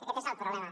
aquest és el problema